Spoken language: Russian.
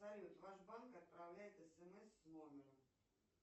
салют ваш банк отправляет смс с номером